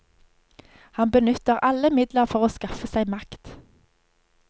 Han benytter alle midler for å skaffe seg makt.